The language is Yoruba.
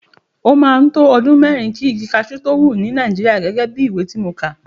Ó máa ń to ọdún mẹ́rin kí igi cashew tó wù ní Nàìjíríà gẹ́gẹ́ bí ìwé tí mo kà.